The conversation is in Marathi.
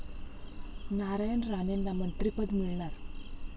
नारायण राणेंना मंत्रिपद मिळणार?